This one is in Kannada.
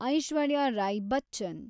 ಐಶ್ವರ್ಯ ರೈ ಬಚ್ಚನ್